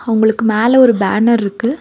அவங்களுக்கு மேல ஒரு பேனர்ருக்கு .